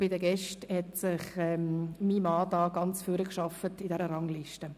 Bei den Gästen hat sich mein Mann in der Rangliste ganz nach vorn gearbeitet.